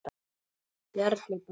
Bjarni Bragi.